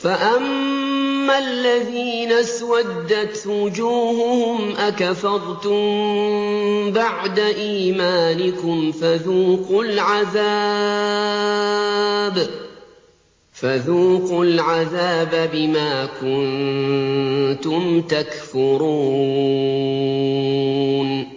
فَأَمَّا الَّذِينَ اسْوَدَّتْ وُجُوهُهُمْ أَكَفَرْتُم بَعْدَ إِيمَانِكُمْ فَذُوقُوا الْعَذَابَ بِمَا كُنتُمْ تَكْفُرُونَ